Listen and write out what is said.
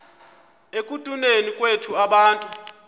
ekutuneni kwethu abantu